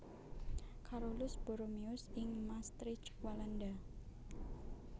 Carolus Borromeus ing Maastricht Walanda